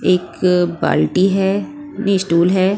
एक बाल्टी है नहीं स्टूल है।